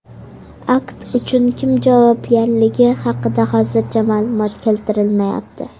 Akt uchun kim javobgarligi haqida hozircha ma’lumot keltirilmayapti.